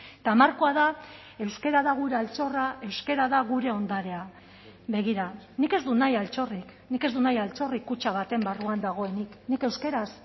eta markoa da euskara da gure altxorra euskara da gure ondarea begira nik ez dut nahi altxorrik nik ez dut nahi altxorrik kutxa baten barruan dagoenik nik euskaraz